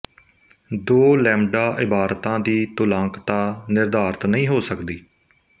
ਦੋ ਲੈਮਡਾ ਇਬਾਰਤਾਂ ਦੀ ਤੁਲਾਂਕਤਾ ਨਿਰਧਾਰਤ ਨਹੀਂ ਹੋ ਸਕਦੀ